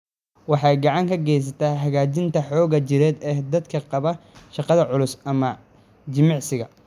Waxay gacan ka geysataa hagaajinta xoogga jireed ee dadka qaba shaqada culus ama jimicsiga.